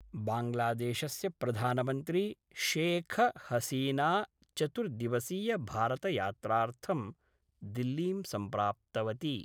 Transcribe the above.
बांग्लादेशस्य प्रधानमन्त्री शेख हसीना चतुर्दिवसीय भारतयात्रार्थं दिल्लीं सम्प्राप्तवती।